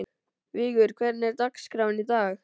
Vigur, hvernig er dagskráin í dag?